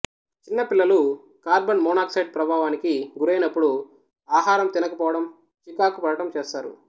చిన్న పిల్లలు carbon monoxide ప్రభావానికి గురైనప్పుడు ఆహారం తినకపోవడం చికాకు పడటం చేస్తారు